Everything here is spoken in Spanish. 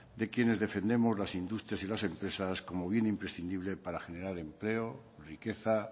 de quienes defendemos las industrias y las empresas como bien imprescindible para generar empleo riqueza